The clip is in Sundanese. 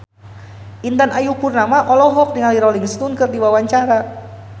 Intan Ayu Purnama olohok ningali Rolling Stone keur diwawancara